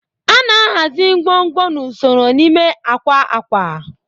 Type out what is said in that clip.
A na-ahazi ngwongwo n'usoro n'ime akwa akwa